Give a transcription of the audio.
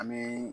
An bɛ